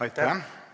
Aitäh!